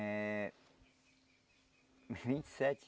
É... Uns vinte e sete